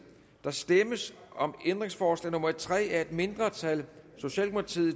der stemmes om ændringsforslag nummer tre af et mindretal